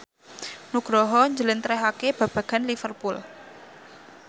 Nugroho njlentrehake babagan Liverpool